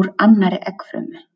úr annarri eggfrumu.